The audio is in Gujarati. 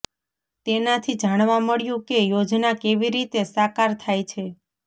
તેનાથી જાણવા મળ્યું કે યોજના કેવી રીતે સાકાર થાય છે